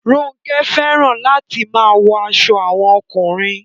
Ronke fẹràn latin maa wọ aṣọ awọn ọkunrin